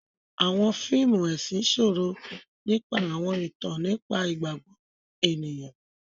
Awọn fíìmù ẹsin sọrọ nípa awọn ìtàn nípa igbagbọ ènìyàn.